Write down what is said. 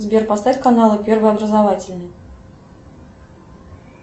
сбер поставь каналы первый образовательный